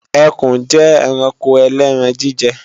Ẹkùn jẹ́ ẹranko ẹlẹ́ran-jíjẹ